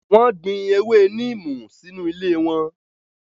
Wọ́n gbin ewé neem sínú ilé wọn.